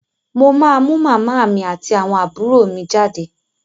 Mo máa mú màmá mi àti àwọn àbúrò mi jáde.